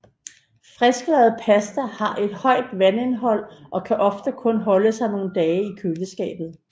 Frisklavet pasta har et højt vandindhold og kan ofte kun holde sig nogle dage i køleskab